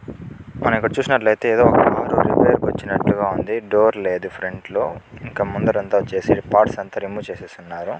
మనం ఇక్కడ చూస్తుంటే డోర్ లేదు ఫ్రంట్ లో ఇంకా ముందట వచ్సి పార్ట్స్ అంత రెమొవె చేసేసి ఉన్నారు.